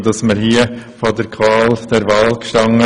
Wir hatten hier die Qual der Wahl.